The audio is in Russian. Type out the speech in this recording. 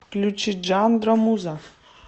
включи джандро муза